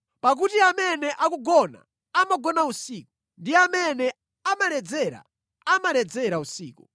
Pakuti amene akugona, amagona usiku, ndi amene amaledzera, amaledzera usiku.